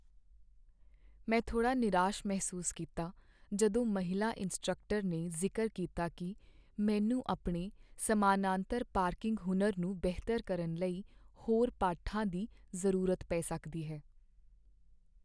ਮੈਂ ਥੋੜ੍ਹਾ ਨਿਰਾਸ਼ ਮਹਿਸੂਸ ਕੀਤਾ ਜਦੋਂ ਮਹਿਲਾ ਇੰਸਟ੍ਰਕਟਰ ਨੇ ਜ਼ਿਕਰ ਕੀਤਾ ਕਿ ਮੈਨੂੰ ਆਪਣੇ ਸਮਾਨਾਂਤਰ ਪਾਰਕਿੰਗ ਹੁਨਰ ਨੂੰ ਬਿਹਤਰ ਕਰਨ ਲਈ ਹੋਰ ਪਾਠਾਂ ਦੀ ਜ਼ਰੂਰਤ ਪੈ ਸਕਦੀ ਹੈ।